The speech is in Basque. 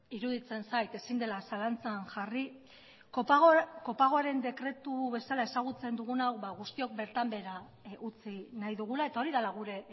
iruditzen zait ezin dela zalantzan jarri kopagoaren dekretu bezala ezagutzen dugun hau guztiok bertan behera utzi nahi dugula eta hori dela gure